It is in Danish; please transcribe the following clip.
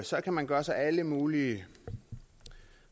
så kan man gøre sig alle mulige